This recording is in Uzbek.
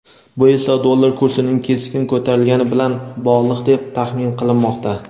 Bu esa dollar kursining keskin ko‘tarilgani bilan bog‘liq deb tahmin qilinmoqda.